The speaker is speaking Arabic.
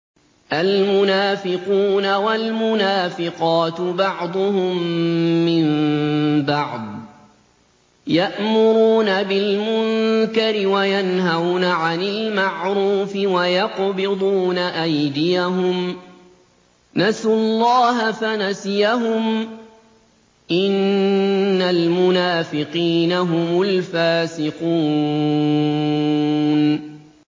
الْمُنَافِقُونَ وَالْمُنَافِقَاتُ بَعْضُهُم مِّن بَعْضٍ ۚ يَأْمُرُونَ بِالْمُنكَرِ وَيَنْهَوْنَ عَنِ الْمَعْرُوفِ وَيَقْبِضُونَ أَيْدِيَهُمْ ۚ نَسُوا اللَّهَ فَنَسِيَهُمْ ۗ إِنَّ الْمُنَافِقِينَ هُمُ الْفَاسِقُونَ